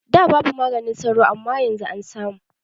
Da babu maganin sauro amma yanzu an samu